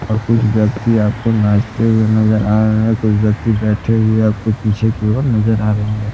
और कुछ व्यक्ति आपको नाचते हुए नजर आ रहे कुछ व्यक्ति बैठे हुए आपको पीछे की ओर नजर आ रहे होंगे।